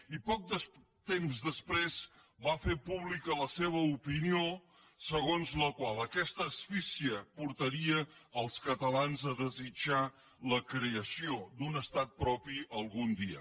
i poc temps després va fer pública la seva opinió segons la qual aquesta asfíxia portaria els catalans a desitjar la creació d’un estat propi algun dia